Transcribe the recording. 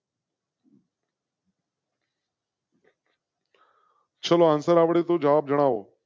ચાલો આન્સર આવડે તો જવાબ જણાવો.